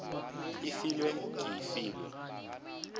e filwe ke e filwe